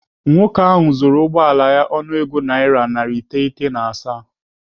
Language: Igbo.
Nwoke ahụ zụrụ ụgbọala ya ọnụego naira narị iteghete na asaa.